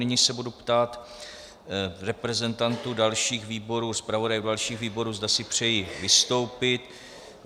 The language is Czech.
Nyní se budu ptát reprezentantů dalších výborů, zpravodaje dalších výborů, zda si přejí vystoupit.